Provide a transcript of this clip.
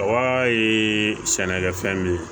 A ye sɛnɛkɛ fɛn min ye